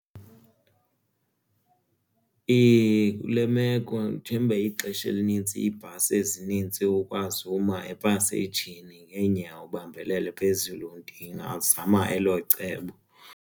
Kule meko njemba ixesha elinintsi iibhasi ezinintsi ukwazi uma epaseyijini ngeenyawo ubambelele phezulu ndingazama elo cebo.